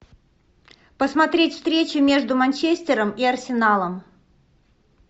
посмотреть встречи между манчестером и арсеналом